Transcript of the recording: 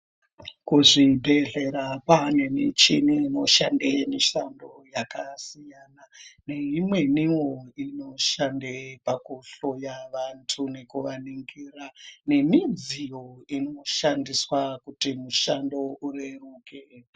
Kuzvibhedhlerakwva nemichini inoshande mushando yakasiyana neimweni wo inoshande pakuhloya vantu nekuvaningira nemidziyo inoshandiswa kuti mishando ireruke.